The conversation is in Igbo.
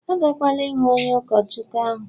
agakwala ihụ onye ụkọchukwu ahụ!